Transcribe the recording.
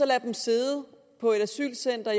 lader dem sidde på et asylcenter